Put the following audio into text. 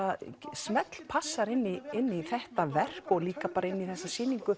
smellpassar inn í inn í þetta verk og líka bara inn í þessa sýningu